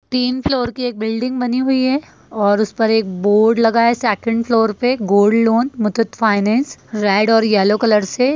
तीन फ्लोर की एक बिल्डिंग बानी हुए हैं और ऊपर एक बोर्ड लगा है सेकंड फ्लोर पे gold loan Muthoot finance red और येलो कलर से ।